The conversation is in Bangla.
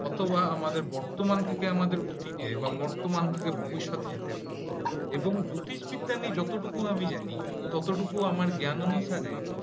অথবা আমাদের বর্তমান থেকে আমাদের অতিতে বা বর্তমান থেকে ভবিষ্যতে এবং জ্যোতিষবিদ্যা আমি যতটুকু জানি ততটুকু আমার জ্ঞান অনুসারে